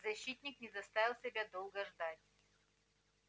защитник не заставил себя долго ждать